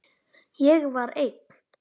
Ég var einn.